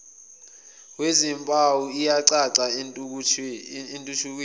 wezimpawu iyacaca entuthukweni